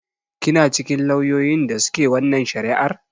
Kina cikin lauyoyin da su ke wannan shari'ar?